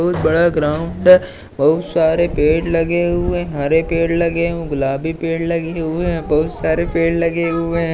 बहुत बड़ा ग्राउंड है बहुत सारे पेड़ लगे हुए हरे पेड़ लगे गुलाबी पेड़ लगे हुए है बहुत सारे पेड़ लगे हुए हैं।